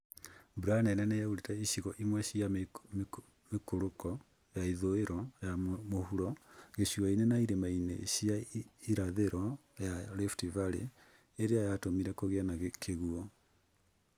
Mbura nene nĩyaurire icigo imwe cia mĩikũrũko ya ithũĩro ya mũhuro, gĩcũa-inĩ, na irĩma-ini cia irathĩro ya Rift Valley ĩrĩa yatũmire kũgĩe na kĩguũ